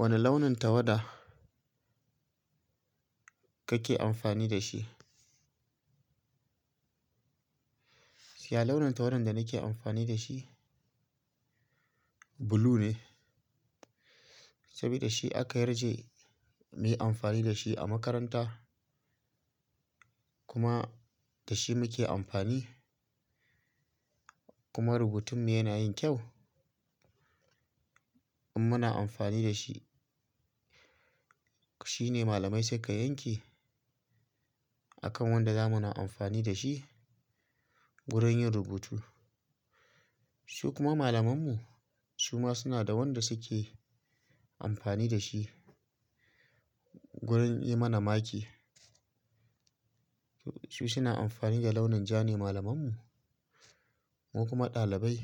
Wane launin tawada kake amfani da shi? Siya launin tawada da nake amfani da shi blue ne, saboda shi aka yarje muyi amfani da shi a makaranta kuma da shi muke amfani kuma rubutun mu yana yin kyau in muna amfani da shi. Shi ne malamai suka yanke akan wanda zamu na amfani da shi wurin yin rubutu. Su kuma malamanmu su ma suna da wanda suke amfani da shi wurin yi mana maki. Su suna amfani da launin ja ne malamanmu. Mu kuma ɗalibai